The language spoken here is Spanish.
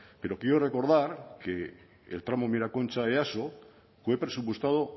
pero quiero recordar que el tramo miraconcha easo fue presupuestado